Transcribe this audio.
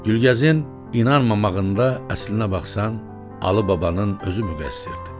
Gülgəzin inanmamağında, əslinə baxsan, Alı babanın özü müqəssirdir.